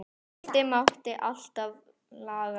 Hitt mátti alltaf laga næst.